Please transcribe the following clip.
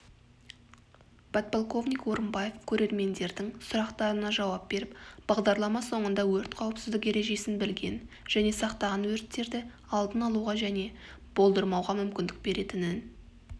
подполковник орымбаев көрермендердің сұрақтарына жауап беріп бағдарлама соңында өрт қауіпсіздік ережесін білген және сақтаған өрттерді алдын алуға және болдырмауға мүмкіндік беретінін